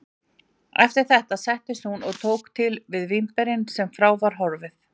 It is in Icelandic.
Eftir þetta settist hún og tók til við vínberin þar sem frá var horfið.